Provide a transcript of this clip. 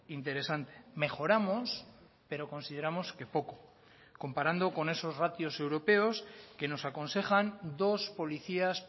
interesante mejoramos pero consideramos que poco comparando con esos ratios europeos que nos aconsejan dos policías